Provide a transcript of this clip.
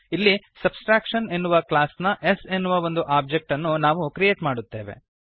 ಇಲ್ಲಿ ಸಬ್ಟ್ರಾಕ್ಷನ್ ಎನ್ನುವ ಕ್ಲಾಸ್ ನ s ಎನ್ನುವ ಒಂದು ಒಬ್ಜೆಕ್ಟ್ ಅನ್ನು ನಾವು ಕ್ರಿಯೇಟ್ ಮಾಡುತ್ತೇವೆ